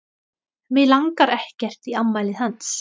Mig langar ekkert í afmælið hans.